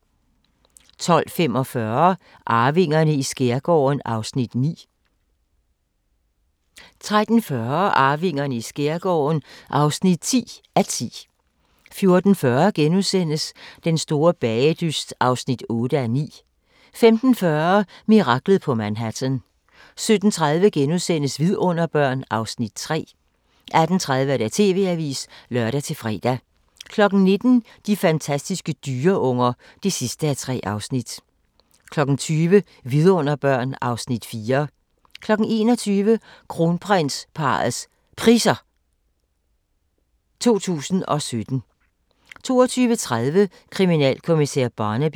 12:45: Arvingerne i skærgården (9:10) 13:40: Arvingerne i skærgården (10:10) 14:40: Den store bagedyst (8:9)* 15:40: Miraklet på Manhattan 17:30: Vidunderbørn (Afs. 3)* 18:30: TV-avisen (lør-fre) 19:00: De fantastiske dyreunger (3:3) 20:00: Vidunderbørn (Afs. 4) 21:00: Kronprinsparrets Priser 2017 22:30: Kriminalkommissær Barnaby